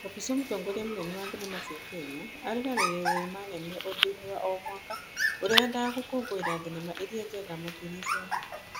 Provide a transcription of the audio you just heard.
Kabuchwa mũtongoria mũnene wa thenema cia Kenya areranĩire thenema nene ũndũini wa o mwaka ũria wendaga gũkũngũira thenema iria njega makĩria cia gũkũ.